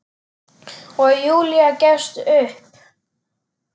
Og Júlía gefst upp.